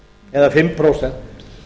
eða fimm prósent